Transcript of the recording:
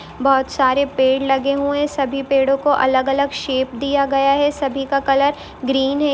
बहुत सारे पेड़ लगे हुए है सभी पेड़ो को अलग अलग शेप दिया गया है सभी का कलर ग्रीन है।